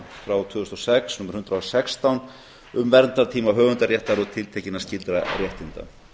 frá tvö þúsund og sex númer hundrað og sextán um verndartíma höfundaréttar og tiltekinna skyldra réttinda